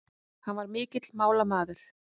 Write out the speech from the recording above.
Hann var mikill málamaður.